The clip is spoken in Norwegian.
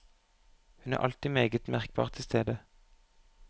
Hun er alltid meget merkbart til stede.